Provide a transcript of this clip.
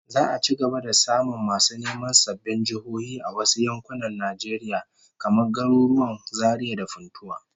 Za'a ci gaba da samun masu neman sabbin jihohi a wasu yankunan Najeriya, kamar garuruwan Zaria da Funtua